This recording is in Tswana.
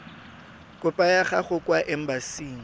kopo ya gago kwa embasing